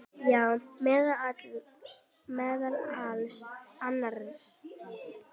Já, meðal annars.